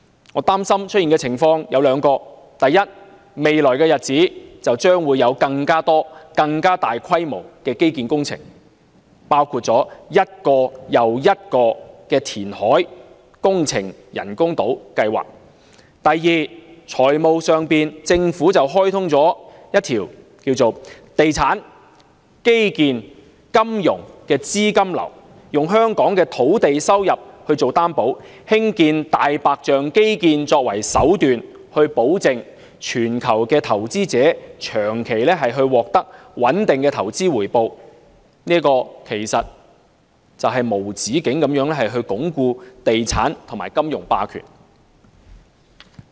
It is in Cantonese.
我擔心會出現兩種情況：第一，未來日子將會有更多更大規模的基建工程，包括一個又一個的人工島填海工程計劃；及第二，在財務上，政府開通一條"地產─基建─金融"的資金流，以香港的土地收入作擔保，興建"大白象"基建為手段，保證全球投資者長期獲得穩定的投資回報，這其實會無止境地鞏固地產和金融霸權。